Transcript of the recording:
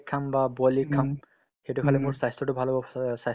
cake খাম বা boil egg খাম সেইটো খালে মোৰ স্বাস্থ্যতো ভাল হ'ব স্বাস্থ্যত লাগি